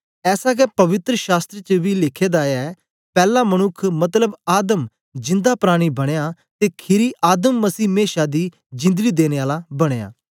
ऐसा गै पवित्र शास्त्र च बी लिखे दा ऐ पैला मनुक्ख मतलब आदम जिंदा प्राणी बनया ते खीरी आदम मसीह मेशा दी जिंदड़ी देने आला बनया